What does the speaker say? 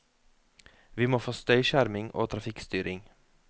Vi må få støyskjerming og trafikkstyring.